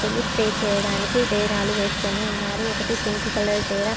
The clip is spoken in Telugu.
స్టే చేయడానికి డేరాలు వేసుకుని ఉన్నారు ఒకటి పింక్ కలర్ డేరా --